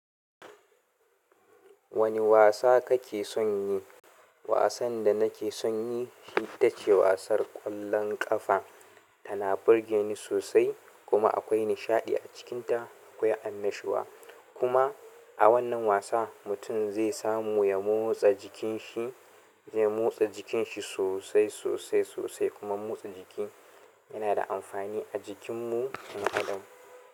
Wane wasa kake son yi? Wasan da nake son yi shi ita ce wasar ƙwallon ƙafa. Tana burge ni sosai kuma akwai nishaɗi acikin ta akwai annashuwa kuma a wannan wasa mutum zai samu ya motsa jikin shi, ya motsa jikin shi sosai, sosai, sosai kuma motsa jiki. Yana da amfani a jikin mu mu adam.